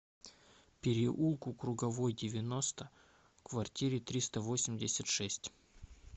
переулку круговой девяносто в квартире триста восемьдесят шесть